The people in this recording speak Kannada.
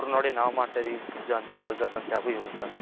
Pizza ಅಂತ Burgers ಅಂತೆ ಅವು ಇವು ಅಂತ